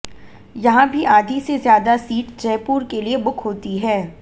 यहां भी आधी से ज्यादा सीट जयपुर के लिए बुक होती है